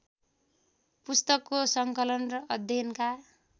पुस्तकको सङ्कलन र अध्ययनका